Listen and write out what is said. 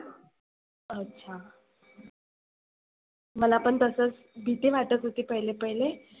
अच्छा मला पण तसच भिती वाटत होती पहिले पहिले.